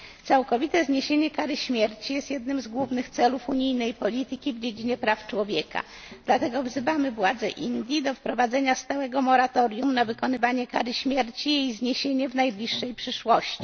Całkowite zniesienie kary śmierci jest jednym z głównych celów unijnej polityki w dziedzinie praw człowieka, dlatego wzywamy władze Indii do wprowadzenia stałego moratorium na wykonywanie kary śmierci i jej zniesienia w najbliższej przyszłości.